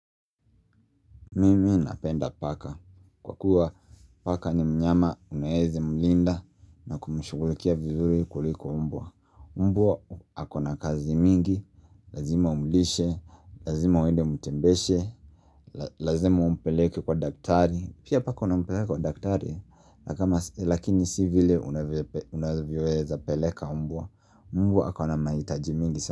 Mimi napenda paka kwa kuwa paka ni mnyama unaeza mlinda na kumshughulikia vizuri kuliko mbwa Mbwa ako na kazi mingi, lazima umlishe, lazima uende umtembeshe, lazima umpeleke kwa daktari. Pia paka unampeleka kwa daktari, lakini si vile unavyoweza peleka mbwa, mbwa ako na mahitaji mingi sana.